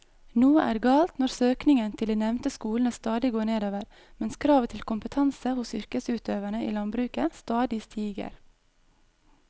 Noe er galt når søkningen til de nevnte skolene stadig går nedover mens kravet til kompetanse hos yrkesutøverne i landbruket stadig stiger.